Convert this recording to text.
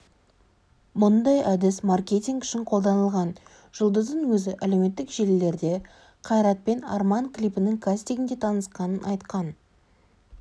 мұндай әдіс маркетинг үшін қолданылған жұлдыздың өзі әлеуметтік желілерде қайратпен арман клипінің кастингінде танысқанын айтқан